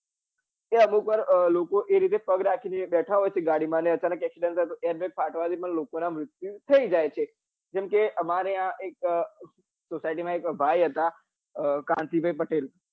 કે અમુક વાર એ રીતે પગ રાખી ને બેઠા હોય છે ગાડી માં ને અચાનક accidentair bag ફાટવા થી પણ લોકો નાં મૃત્યુ થઇ જાય છે અમારે અહિયાં અમારે society માં એક ભાઈ હતા કાંતિ ભાઈ પટેલ